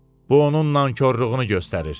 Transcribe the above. Bu onun nankorluğunu göstərir.